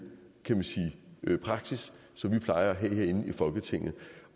praksis som vi plejer at have herinde i folketinget